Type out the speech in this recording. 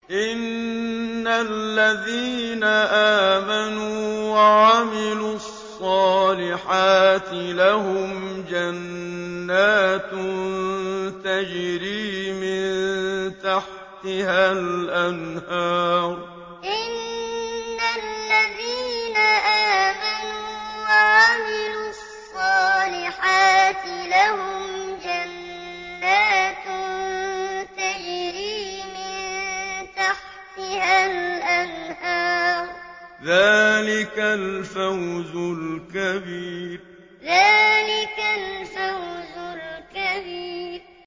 إِنَّ الَّذِينَ آمَنُوا وَعَمِلُوا الصَّالِحَاتِ لَهُمْ جَنَّاتٌ تَجْرِي مِن تَحْتِهَا الْأَنْهَارُ ۚ ذَٰلِكَ الْفَوْزُ الْكَبِيرُ إِنَّ الَّذِينَ آمَنُوا وَعَمِلُوا الصَّالِحَاتِ لَهُمْ جَنَّاتٌ تَجْرِي مِن تَحْتِهَا الْأَنْهَارُ ۚ ذَٰلِكَ الْفَوْزُ الْكَبِيرُ